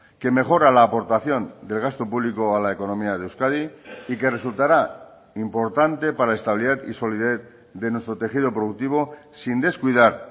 que mejora la aportación del gasto público a la economía de euskadi y que resultará importante para estabilidad y solidez de nuestro tejido productivo sin descuidar